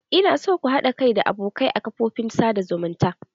Ina so ku haɗa kai da abokai a kafofin sada zumunta.